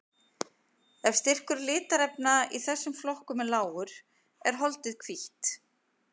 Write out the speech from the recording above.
Ef styrkur litarefna í þessum flokkum er lágur er holdið hvítt.